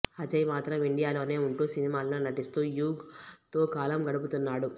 అజయ్ మాత్రం ఇండియాలోనే ఉంటూ సినిమాలలో నటిస్తూ యుగ్ తో కాలం గడుపుతున్నాడు